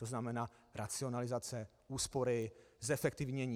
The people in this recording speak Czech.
To znamená racionalizace, úspory, zefektivnění.